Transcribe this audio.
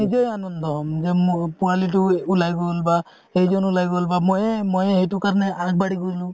মই নিজেই আনন্দ হম যে পোৱালিটো উলাই গল বা সেইজন উলাই গল মইয়ে মইয়ে সেইকাৰণে আগবাঢ়ি গলো